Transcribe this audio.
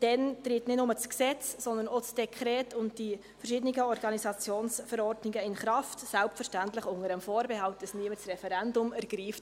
Dann tritt nicht nur das Gesetz, sondern auch das Dekret und die verschiedenen Organisationsverordnungen in Kraft, selbstverständlich unter dem Vorbehalt, dass niemand das Referendum ergreift.